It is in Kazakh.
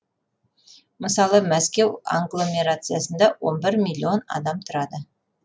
мысалы мәскеу агломерациясында он бір миллион адам тұрады